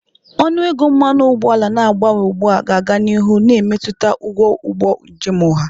Ọnụ ego mmanụ ụgbọala na-agbanwe ugbu a ga-aga n'ihu na-emetụta ụgwọ ụgbọ njem ọha.